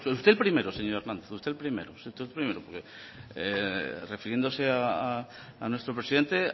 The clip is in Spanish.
usted el primero señor hernández usted el primero porque refiriéndose a nuestro presidente